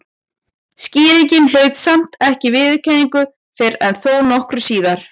Skýringin hlaut samt ekki viðurkenningu fyrr en þó nokkru síðar.